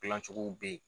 Gilan cogow be yen